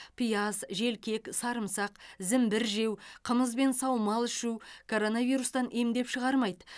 пияз желкек сарымсақ зімбір жеу қымыз бен саумал ішу коронавирустан емдеп шығармайды